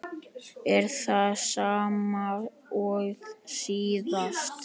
Er það sama og síðast?